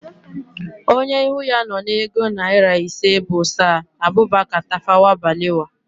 Onye ihu ya nọ na ego naịra ise bụ Saa Abubaka Tafawa Balewa